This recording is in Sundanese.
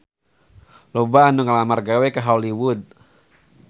Loba anu ngalamar gawe ka Hollywood